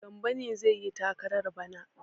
Gambo ne zai yi takarar bana?